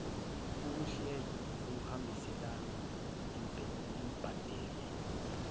ahluleka ukuhambiselana nembandela